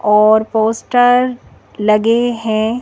और पोस्टर लगे हैं।